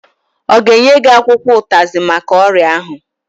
Ọ ga-enye gị akwụkwọ ụtazị maka ọrịa ahụ?